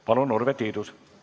Palun, Urve Tiidus!